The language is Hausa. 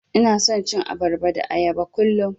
Ina son cin abarba da ayaba kullum.